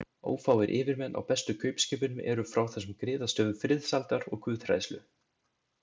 Ófáir yfirmenn á bestu kaupskipunum eru frá þessum griðastöðum friðsældar og guðhræðslu.